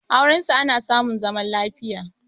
aurensu ana samun zaman lafiya